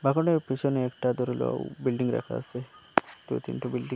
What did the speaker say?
ভবনের পিছনে একটা দুর্লও বিল্ডিং রাখা আসে দুই তিনটো বিল্ডিং --